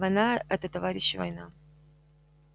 война это товарищи война